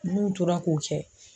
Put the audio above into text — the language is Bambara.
N'u tora k'o kɛ